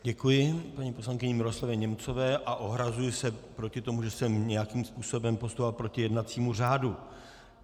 Děkuji paní poslankyni Miroslavě Němcové a ohrazuji se proti tomu, že jsem nějakým způsobem postupoval proti jednacímu řádu.